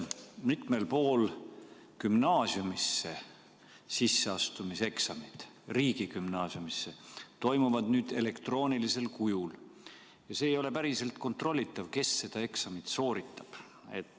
Mitmel pool toimuvad nüüd gümnaasiumisse sisseastumise eksamid elektroonilisel kujul ja see ei ole päriselt kontrollitav, kes eksamit sooritab.